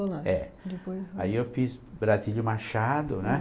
Aí eu fiz Brasílio Machado, né?